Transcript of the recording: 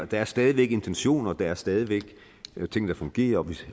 der er stadig væk intentioner og der er stadig væk ting der fungerer